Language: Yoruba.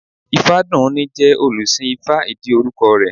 Ifádùúní jẹ́ olùsìn ifá ìdí orúkọ rẹ̀